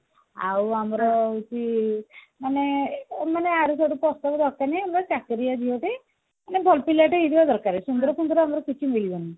ଆଉ ଆମର ହଉଛି ମାନେ ମାନେ ୟାଡୁସାଡୁ ପ୍ରସ୍ତାବ ଦରକାର ନାହିଁ ଆମର ଚାକିରିଆ ଝିଅଟେ ଆମର ଭଲ ପିଲାଟେ ହେଇଥିବା ଦରକାର ସୁନ୍ଦର ଫୁନ୍ଦର ଆମର କିଛି ଦରକାର ନାହିଁ